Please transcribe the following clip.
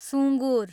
सुँगुर